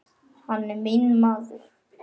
Hann er minn maður.